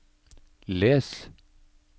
les